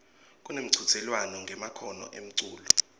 kunemchudzelwano ngemakhono emculo